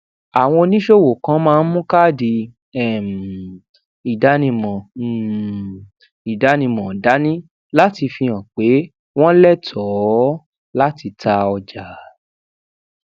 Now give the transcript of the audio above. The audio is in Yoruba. àwọn oníṣòwò kan máa ń mu káàdì um ìdánimọ um ìdánimọ dání láti fi hàn pé wọn létòó láti ta ọjà